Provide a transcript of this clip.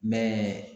Mɛ